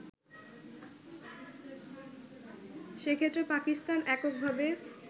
সেক্ষেত্রে পাকিস্তান এককভাবে